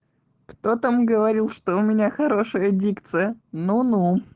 кто там говорил что у меня хорошая дикция ну ну